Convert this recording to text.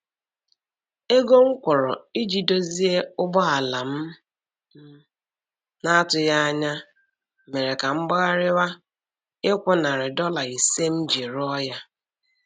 Ego m kwụrụ iji dozie ụgbọala m m na-atụghị anya mere ka m gbagharịwa ịkwụ nari dọla ise m ji rụọ ya.